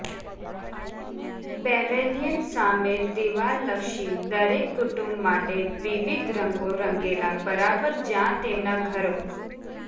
pavilion સામે દીવાલ લક્ષી દરેક કુટુંબ માટે વિવિધ રંગો રંગેલા બરાબર જ્યાં તેમના ઘરો